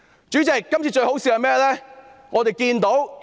主席，今次最可笑的是甚麼呢？